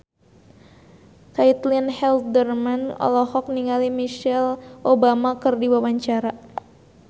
Caitlin Halderman olohok ningali Michelle Obama keur diwawancara